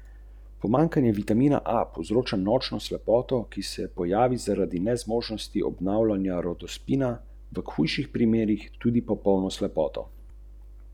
Za letošnje leto napovedujejo strnjeno in bolj obvladljivo festivalsko izdajo.